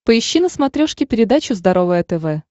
поищи на смотрешке передачу здоровое тв